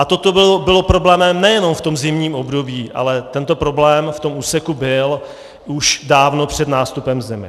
A toto bylo problémem nejenom v tom zimním období, ale tento problém v tom úseku byl už dávno před nástupem zimy.